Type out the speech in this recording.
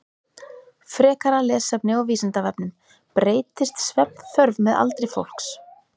Frekara lesefni á Vísindavefnum: Breytist svefnþörf með aldri fólks?